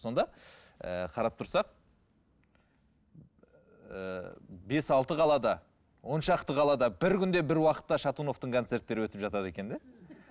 сонда ііі қарап тұрсақ ііі бес алты қалада он шақты қалада бір күнде бір уақытта шатуновтың концерттері өтіп жатады екен де